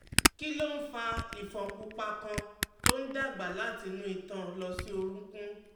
Kí ló ń fa ifon pupa kan tó ń dàgbà láti inú itan lọ sí orunkun?